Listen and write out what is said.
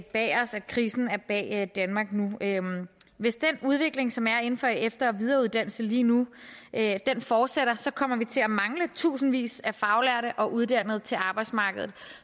bag os at krisen er bag danmark nu hvis den udvikling som er inden for efter og videreuddannelse lige nu fortsætter kommer vi til at mangle tusindvis af faglærte og uddannede til arbejdsmarkedet